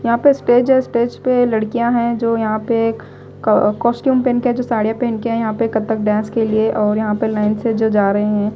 यहाँ पे स्टेज है स्टेज पे लड़कियाँ हैं जो यहाँ पे एक कॉस कॉस्ट्यूम पहन के जो साड़ियाँ पहन के आई है। यहाँ पे कथक डांस के लिए और यहाँ पे लाइन से जो जा रहे हैं।